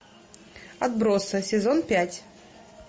отбросы сезон пять